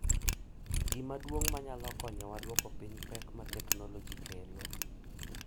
Gima duong’ manyalo konyowa duoko piny pek ma teknoloji kelo